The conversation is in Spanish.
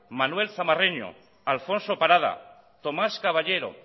manuel zamarreño alfonso parada tomás caballero